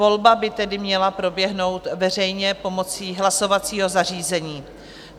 Volba by tedy měla proběhnout veřejně pomocí hlasovacího zařízení.